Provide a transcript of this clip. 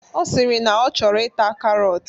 Ọ sịrị na ọ chọrọ ita karọt.